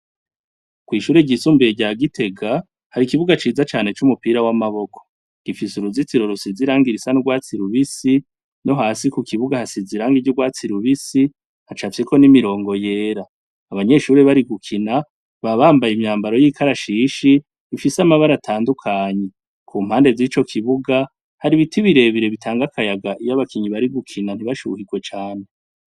Kw'ishuri ryisumbuye rya gitega hari ikibuga ciza canec'umupira w'amaboko gifise uruzitiro rusi ziranga irisa ndwatsi lubisi no hasi ku kibuga hasizi irange ryo urwatsi i lubisi hacapyiko n'imirongo yera abanyeshuri bari gukina babambaye imyambaro y'ikarashishi ifise amabara atandukanyi kumpa ndeze yi co kibuga hari ibiti birebire bitanga akayaga iyo abakinyi bari gukina ntibashuhirwe cane.